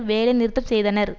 வேலை நிறுத்தம் செய்தனர்